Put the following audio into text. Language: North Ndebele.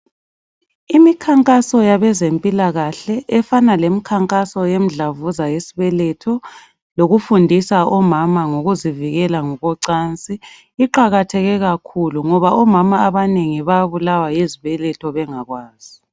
Imikhankaso yabezempilakahle efana lemkhankaso yemdlavuza yesibeletho lokufundisa omama ngokuzivikela ngokocansi iqakatheke kakhulu ngoba omama abanengi bayabulawa yizibeletho bengakwazi.